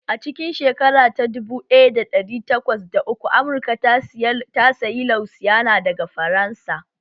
A cikin shekara ta dubu ɗaya da ɗari takwas da uku Amurka ta sayi Louisiana daga Faransa